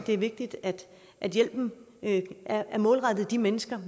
er vigtigt at hjælpen er målrettet de mennesker